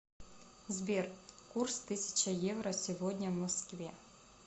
сбер курс тысяча евро сегодня в москве